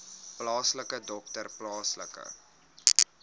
plaaslike dokter plaaslike